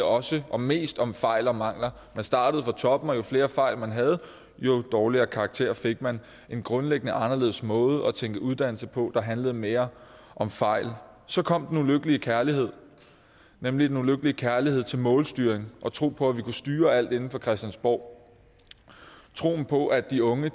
også og mest handle om fejl og mangler man startede fra toppen og jo flere fejl man havde jo dårligere karakter fik man en grundlæggende anderledes måde at tænke uddannelse på der handlede mere om fejl så kom den ulykkelige kærlighed nemlig den ulykkelige kærlighed til målstyring og tro på at vi kunne styre alt inde fra christiansborg troen på at de unge